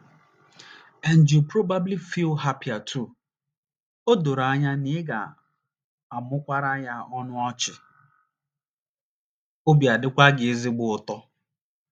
And you probably feel happier too. O doro anya na ị ga - amụmụkwara ya ọnụ ọchị, obi adịkwa gị ezigbo ụtọ.